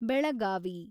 Belagavi